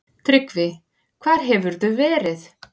TRYGGVI: Hvar hefurðu verið?